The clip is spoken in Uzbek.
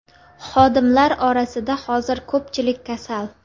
Xodimlar orasida hozir ko‘pchilik kasal.